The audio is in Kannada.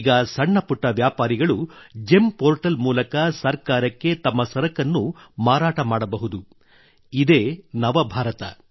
ಈಗ ಸಣ್ಣ ಪುಟ್ಟ ವ್ಯಾಪಾರಿಗಳು ಜೆಮ್ ಪೋರ್ಟಲ್ ಮೂಲಕ ಸರ್ಕಾರಕ್ಕೆ ತಮ್ಮ ಸರಕನ್ನು ಮಾರಾಟ ಮಾಡಬಹುದು ಇದೇ ನವಭಾರತ